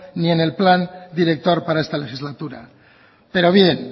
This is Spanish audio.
ni en el plan director para esta legislatura pero bien